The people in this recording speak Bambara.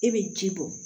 E bɛ ji bɔ